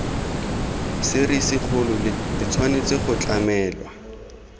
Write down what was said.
serisikgolo le tshwanetse go tlamelwa